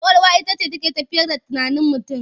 Ƙwaƙwalwa ita ce take tafiyar da tunanin mutum.